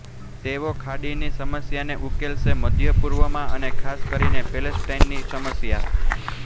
તેઓ ખાડીની સમસ્યાને ઉકેલશે મધ્ય પૂર્વમાં અને ખાસ કરીને પેલેસ્ટાઈનની સમસ્યા